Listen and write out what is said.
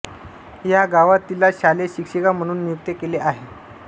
या गावात तिला शालेय शिक्षिका म्हणून नियुक्त केले आहे